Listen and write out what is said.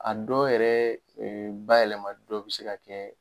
A dɔ yɛrɛ bayɛlɛma dɔ bɛ se ka kɛ